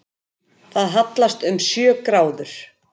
Það hallast um sjö gráður